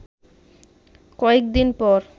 কয়েক দিন পর